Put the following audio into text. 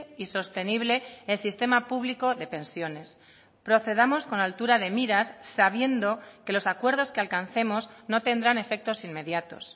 y sostenible el sistema público de pensiones procedamos con altura de miras sabiendo que los acuerdos que alcancemos no tendrán efectos inmediatos